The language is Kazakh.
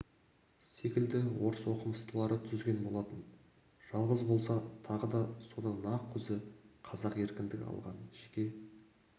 секілді орыс оқымыстылары түзген болатын жалғыз болса тағы да соның нақ өзі қазақ еркіндік алған жеке